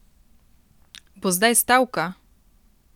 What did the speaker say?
Bo zdaj stavka?